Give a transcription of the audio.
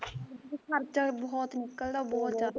ਤੇ ਖਰਚਾ ਵੀ ਬਹੁਤ ਨਿਕਲਦਾ ਬਹੁਤ ਜਿਆਦਾ